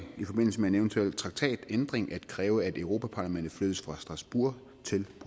i forbindelse med en eventuel traktatændring at kræve at europa parlamentet flyttes fra strasbourg til